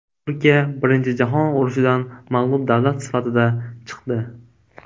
Turkiya Birinchi jahon urushidan mag‘lub davlat sifatida chiqdi.